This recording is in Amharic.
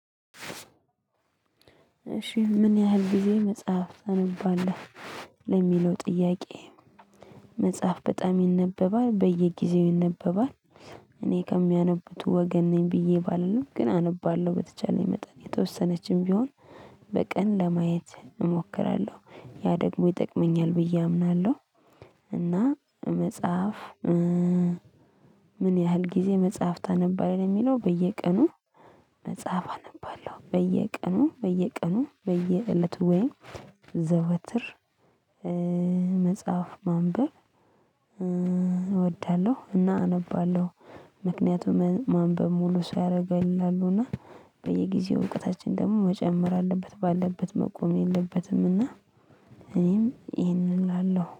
እሺ ምን ያህል ጊዜ መጽሐፍ ታነባለህ? ለሚለው ጥያቄ። መጽሐፍ በጣም ይነበባል በየጊዜው ይነበባል። እኔ ከሚያነቡት ወገን ነኝ ብዬ ባልልም ግን አነባለሁ በተቻለኝ መጠን የተወሰነችም ቢሆን። በቀን ለማየት እሞክራለሁ ያ ደግሞ ይጠቅመኛል ብዬ አምናለሁ። እና መጽሐፍ ምን ያህል ጊዜ መጽሐፍ ታነባለህ? የሚለው በየቀኑ። መጽሐፍ አነባለሁ በየቀኑ በየቀኑ በየእለቱ ወይም ዘወትር መጽሐፍ ማንበብ እወዳለሁ እና አነባለሁ። ምክንያቱም ማንበብ ሙሉ ሰው ያደርጋል ይላሉ። እና በየጊዜው እውቀታችን ደግሞ መጨመር አለበት ባለበት መቆም የለበትም። እና እኔም ይሄንን እላለሁ